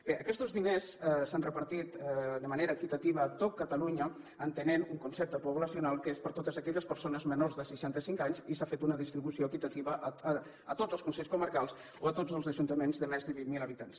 bé aquests diners s’han repartit de manera equitativa a tot catalunya entenent un concepte poblacional que és per a totes aquelles persones menors de seixantacinc anys i s’ha fet una distribució equitativa a tots els consells comarcals o a tots els ajuntaments de més de vint mil habitants